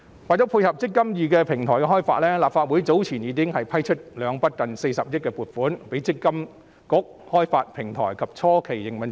為了配合"積金易"平台開發，立法會早前已批出兩筆近40億元的撥款，供積金局開發平台及初期營運之用。